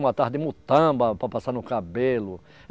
Uma de mutamba para passar no cabelo.